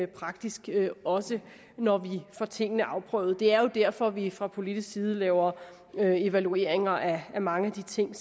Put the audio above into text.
praktisk også når vi får tingene afprøvet det er jo derfor vi fra politisk side laver evalueringer af mange af de ting